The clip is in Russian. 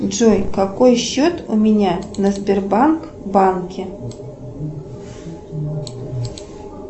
джой какой счет у меня на сбербанк банке